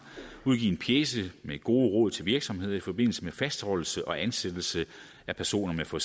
udgivet en pjece med gode råd til virksomhederne i forbindelse med fastholdelse og ansættelse af personer med for